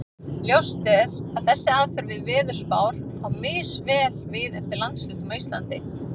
Ljóst er að þessi aðferð við veðurspár á misvel við eftir landshlutum á Íslandi.